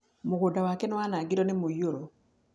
Mũgũnda wake nĩ wanangirwo nĩ mũiyũro.